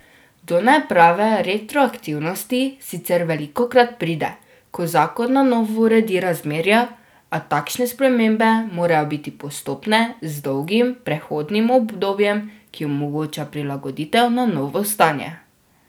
Do neprave retroaktivnosti sicer velikokrat pride, ko zakon na novo uredi razmerja, a takšne spremembe morajo biti postopne z dolgim prehodnim obdobjem, ki omogoča prilagoditev na novo stanje.